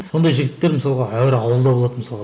сондай жігіттер мысалға ауылда болады мысалға